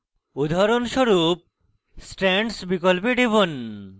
উদাহরণস্বরূপ strands বিকল্পে টিপুন